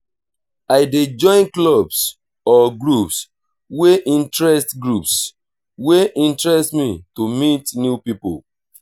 i dey join clubs or groups wey interest groups wey interest me to meet new people.